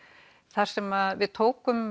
þar sem við tókum